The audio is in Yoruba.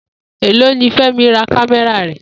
Èló ni Fé̩mi ra kámé̩rà rè̩?